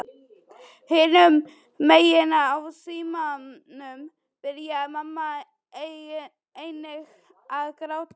Hinum megin í símanum byrjaði mamma einnig að gráta.